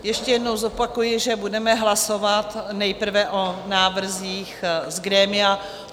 Ještě jednou zopakuji, že budeme hlasovat nejprve o návrzích z grémia.